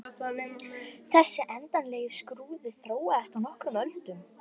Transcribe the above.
Þessi endanlegi skrúði þróaðist á nokkrum öldum.